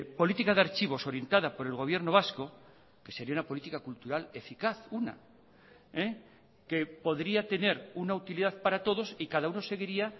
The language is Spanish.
política de archivos orientada por el gobierno vasco que sería una política cultural eficaz una que podría tener una utilidad para todos y cada uno seguiría